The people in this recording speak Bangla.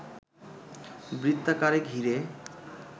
বৃত্তাকারে ঘিরে